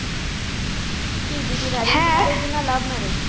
কি দিদির arrange marriage না love marriage